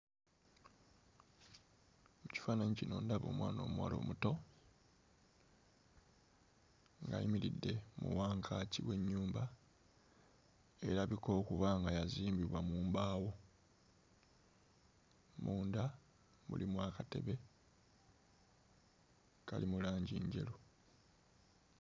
Mu kifaananyi kino ndaba omwana omuwala omuto ng'ayimiridde mu wankaaki w'ennyumba erabika okuba nga yazimbibwa mu mbaawo munda mulimu akatebe kali mu langi njeru.